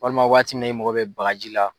Walima waati min na e mago bɛ bagaji la.